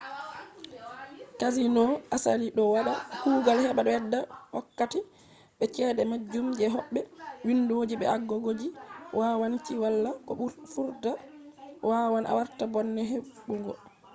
casinos asali do wada kugal heba bedda wokkati be chede majjungo je hobbe. windoji be agogoji yawanci wala bo vurta wawan warta bone hebugo